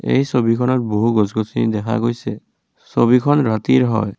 এই ছবিখনত বহু গছ গছনি দেখা গৈছে ছবিখন ৰাতিৰ হয়।